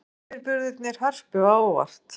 Komu yfirburðirnir Hörpu á óvart?